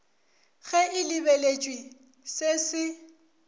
ge e lebeletšwe se se